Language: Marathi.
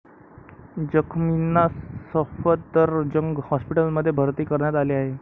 जखमींना सफदरजंग हॉस्पिटलमध्ये भर्ती करण्यात आले आहे.